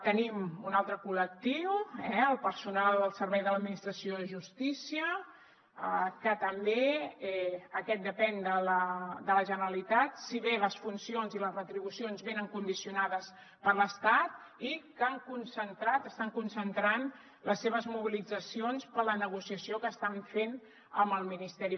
tenim un altre col·lectiu el personal al servei de l’administració de justícia que també aquest depèn de la generalitat si bé les funcions i les retribucions venen condicionades per l’estat i que estan concentrant les seves mobilitzacions per la negociació que estan fent amb el ministeri